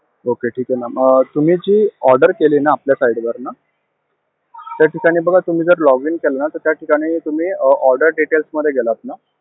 Okay ठीक आहे ma'am. अं तुम्ही जी order केलीये न आपल्या site वरून त्या ठिकाणी बघा तुम्ही जर login केलं ना, तर त्या ठिकाणी तुम्ही order details मध्ये गेलात ना?